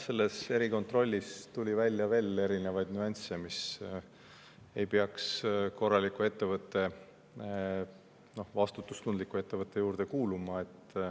Nojah, erikontrollist tuli välja veel erinevaid nüansse, mis ei peaks korraliku ettevõtte, vastutustundliku ettevõtte juurde kuuluma.